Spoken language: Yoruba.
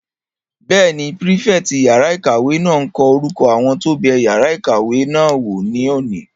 Bẹ́ẹ̀ni, pírífẹ̀tì yàrá-ìkàwé náà n kọ orúkọ àwọn tó bẹ yàrá ìkàwé náà wò ní òní